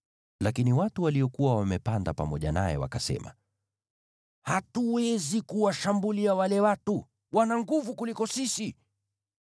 Lakini watu waliokuwa wamepanda pamoja naye wakasema, “Hatuwezi kuwashambulia wale watu; wana nguvu kutuliko sisi.”